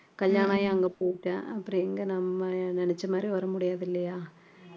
கல்யாணம் ஆகி அங்க போயிட்டா அப்புறம் எங்க நம்ம நினைச்ச மாதிரி வர முடியாது இல்லையா